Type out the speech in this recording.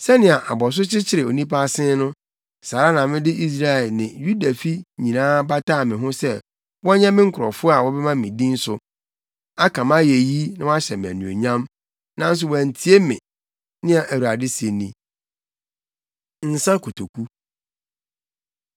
Sɛnea abɔso kyekyere onipa asen no, saa ara na mede Israelfi ne Yudafi nyinaa bataa me ho sɛ wɔnyɛ me nkurɔfo a wɔbɛma me din so, aka mʼayeyi na wɔahyɛ me anuonyam, nanso wɔantie me,’ nea Awurade se ni. Nsa Kotoku